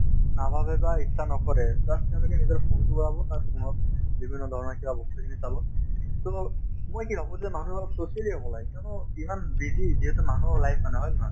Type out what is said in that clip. নাভাবে বা ইচ্ছা নকৰে bass তেওঁলোকে নিজৰ phone তো ওলাব তাত বিভিন্ন ধৰণৰ কিবা বস্তু খিনি চাব so মই কি ভাবো যে মানুহ অলপ socially হব লাগে কিয়নো ইমান busy যিহেতু মানুহৰ life মানে হয় নে নহয়